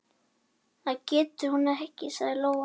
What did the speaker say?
Það getur hún ekki, sagði Lóa.